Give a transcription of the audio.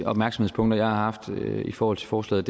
opmærksomhedspunkter jeg har haft i forhold til forslaget